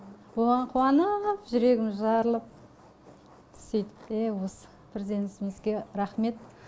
оған қуаныыып жүрегіміз жарылып сөйтіп ее осы бірден ісімізге рахмет